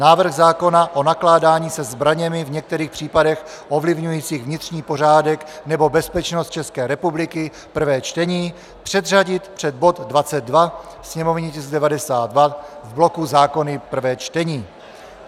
Návrh zákona o nakládání se zbraněmi v některých případech ovlivňujících vnitřní pořádek nebo bezpečnost České republiky, prvé čtení, předřadit před bod 22, sněmovní tisk 92, v bloku zákony prvé čtení.